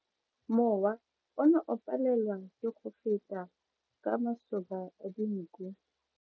Mowa o ne o palelwa ke go feta ka masoba a dinko.